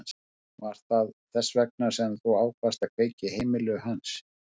Var það þess vegna sem þú ákvaðst að kveikja í heimili hans?